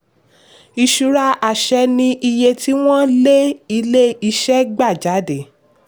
ìṣura àṣẹ ni iye tí wọ́n lé ilé-iṣẹ́ gba jáde.